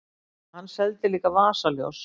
Hann seldi líka vasaljós.